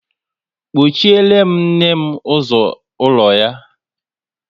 kpochiere nne m ụzọ ụlọ ya!